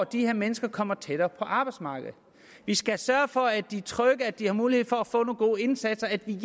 de her mennesker kommer tættere på arbejdsmarkedet vi skal sørge for at de er trygge at de har mulighed for at få nogle gode indsatser at vi